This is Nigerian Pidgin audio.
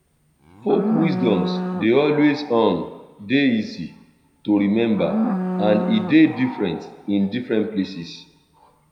folk wisdom de always um de easy to remember and e de different in different places